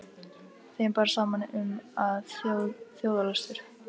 Þeim bar saman um, að þjóðarlöstur